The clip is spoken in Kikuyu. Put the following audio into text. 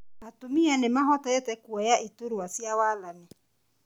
Atumia nĩmahotete kuoya iturwa cia wathani